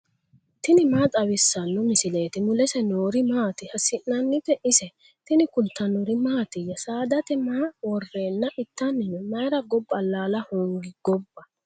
tini maa xawissanno misileeti ? mulese noori maati ? hiissinannite ise ? tini kultannori mattiya? Saadate maa woreenna ittanni noo? Mayiira gobba alaalla hoongi gobba?